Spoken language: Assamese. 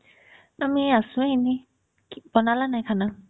আমি আছো, এনে। বনালা নাই khana ?